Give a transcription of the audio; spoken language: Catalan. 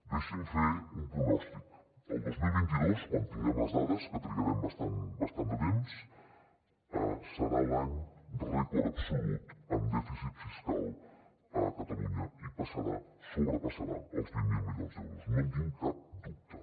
deixin me fer un pronòstic el dos mil vint dos quan tinguem les dades que trigarem bastant de temps serà l’any rècord absolut en dèficit fiscal a catalunya i passarà sobrepassarà els vint miler milions d’euros no en tinc cap dubte